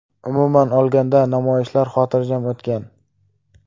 Umuman olganda, namoyishlar xotirjam o‘tgan.